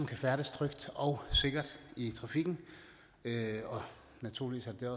kan færdes trygt og sikkert i trafikken og naturligvis er det